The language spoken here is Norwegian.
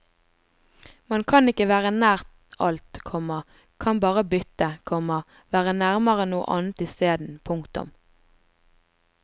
Man kan ikke være nær alt, komma kan bare bytte, komma være nærmere noe annet isteden. punktum